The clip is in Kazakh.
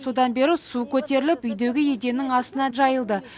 содан бері су көтеріліп үйдегі еденнің астына жайылды